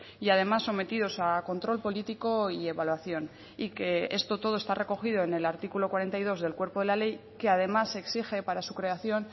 y además sometidos a control político y evaluación y que esto todo está recogido en el artículo cuarenta y dos del cuerpo de la ley que además exige para su creación